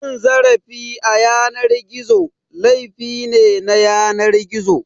Cin zarafi a yanar gizo, laifi ne na yanar gizo.